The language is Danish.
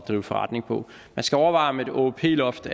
drive forretning på man skal overveje om et åop loft